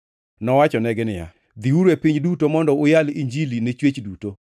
Nowachonegi niya, “Dhiuru e piny duto mondo uyal Injili ne chwech duto.